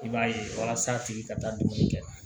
I b'a ye walasa a tigi ka taa dumuni kɛ